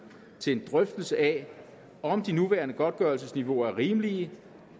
til en drøftelse af om de nuværende godtgørelsesniveauer er rimelige